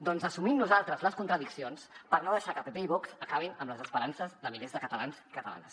doncs assumim nosaltres les contradiccions per no deixar que pp i vox acabin amb les esperances de milers de catalans i catalanes